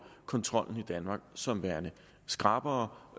kontrollen i danmark som værende skrappere